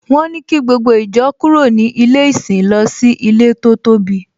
Wọ́n ní kí gbogbo ìjọ kúrò ní ilé ìsìn lọ sí ilé tó tóbi